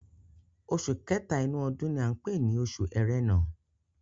Oṣù kẹ́tà inú ọdún ni à ń pè ni oṣù Ẹrẹ̀nà.